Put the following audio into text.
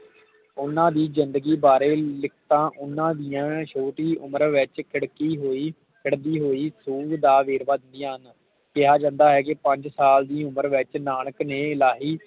ਓਹਨਾ ਦੀ ਜਿੰਦਗੀ ਬਾਰੇ ਲਿਖਤਾਂ ਓਹਨਾ ਦੀਆ ਛੋਟੀ ਉਮਰ ਵਿਚ ਖਿੜਕੀ ਹੋਈ ਚੜ੍ਹਦੀ ਹੋਈ ਸੂ ਦਾ ਵੇਰ ਵੇਰਵਾ ਦਿੰਦਿਆਂ ਹਨ ਕਿਹਾ ਜਾਂਦਾ ਹੈ ਕਿ ਪੰਜ ਸਾਲ ਵਿਚ ਨਾਨਕ ਨੇ ਇਲਾਹੀ